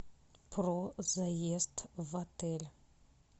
про заезд в отель